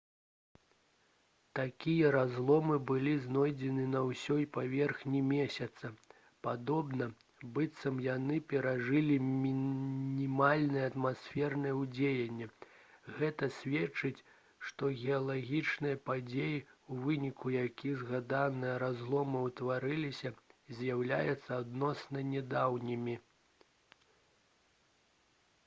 такія разломы былі знойдзены на ўсёй паверхні месяца падобна быццам яны перажылі мінімальнае атмасфернае ўздзеянне гэта сведчыць што геалагічныя падзеі у выніку якіх згаданыя разломы ўтварыліся з'яўляюцца адносна нядаўнімі